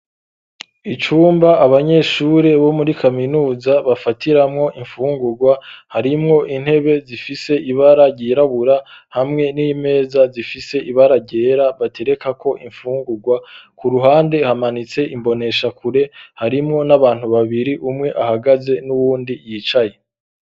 Icumba abanyeshure bo muri kaminuza bafatiramwo imfungurwa harimwo intebe zifise ibara ryirabura hamwe n'imeza zifise ibara ryera batereka ko imfungurwa ku ruhande hamanitse imbonesha kure harimwo n'abantu babiri umwe ahagaze n'uwundi yicaye.